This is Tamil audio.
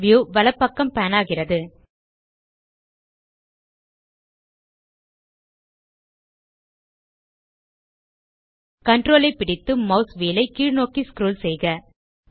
வியூ வலப்பக்கம் பான் ஆகிறது Ctrl ஐ பிடித்து மாஸ் வீல் ஐ கீழ்நோக்கி ஸ்க்ரோல் செய்க